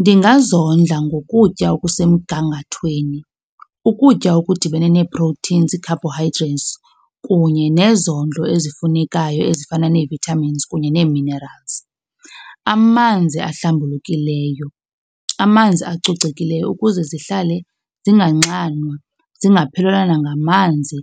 Ndingazondla ngokutya okusemgangathweni, ukutya okudibene nee-proteins, ii-carbohydrates kunye nezondlo ezifunekayo ezifana ne-vitamins kunye ne-minerals. Amanzi ahlambulukileyo, amanzi acocekileyo ukuze zihlale zinganxanwa, zingaphelelwa nangamanzi